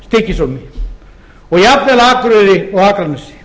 flatey stykkishólmi og jafnvel á akureyri og akranesi